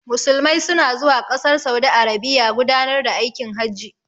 Musulmai su na zuwa ƙasar saudi arabiya gudanar da aikin hajji